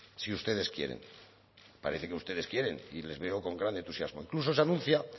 si ustedes quieren parece que ustedes quieren y les veo con gran entusiasmo incluso se anuncia